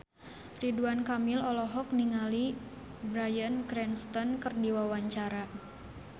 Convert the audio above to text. Ridwan Kamil olohok ningali Bryan Cranston keur diwawancara